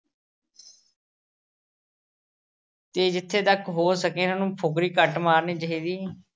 ਤੇ ਜਿੱਥੇ ਤੱਕ ਹੋ ਸਕੇ ਇਹਨਾਂ ਨੂੰ ਫੁਕਰੀ ਘੱਟ ਮਾਰਨੀ ਚਾਹੀਦੀ ਐ।